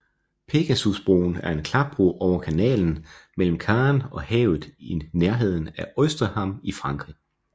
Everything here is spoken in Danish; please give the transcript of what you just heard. Pegasusbroen er en klapbro over kanalen mellem Caen og havet i nærheden af Ouistreham i Frankrig